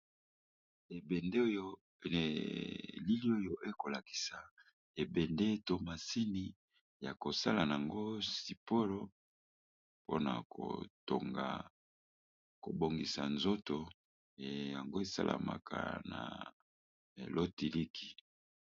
Elili oyo e kolakisa ebende to masini ya kosala yango siporo mpona kotonga kobongisa nzoto yango esalamaka na lotiliki.